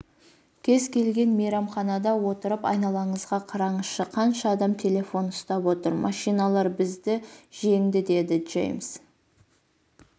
кез келген мейрамханада отырып айналаңызға қараңызшы қанша адам телефон ұстап отыр машиналар бізді жеңді деді джеймс